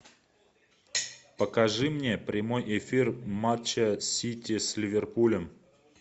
покажи мне прямой эфир матча сити с ливерпулем